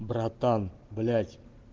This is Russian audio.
братан блять